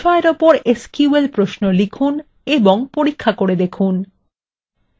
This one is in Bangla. নিম্নলিখিত বিষয়ের ওপর এসকিউএল প্রশ্নও লিখুন এবং পরীক্ষা করে দেখুন :